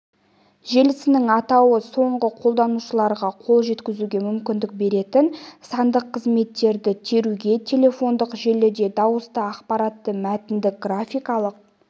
желісінің атауы соңғы қолданушыларға қол жеткізуге мүмкіндік беретін сандық қызметтерді теруге телефондық желіде дауысты ақпаратты мәтінді графикалық